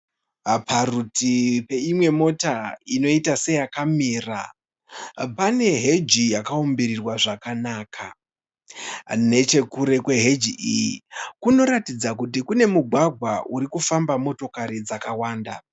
Parutivi peimwe mota inoita seyakamira pane heji yakaumbirirwa zvakanaka nechekure kweheji iyi kunoratidza kuti kune mugwagwa uri famba motokari dzakawanda.